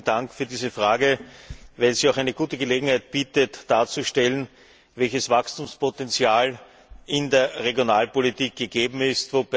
Vielen Dank für diese Frage, die eine gute Gelegenheit bietet, darzustellen, welches Wachstumspotential in der Regionalpolitik gegeben ist.